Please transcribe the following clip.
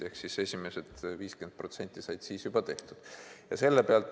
Ehk esimesed 50% said siis juba tehtud.